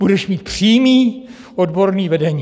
Budeš mít přímé odborné vedení!